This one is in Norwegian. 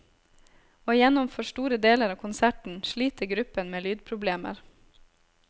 Og gjennom for store deler av konserten sliter gruppen med lydproblemer.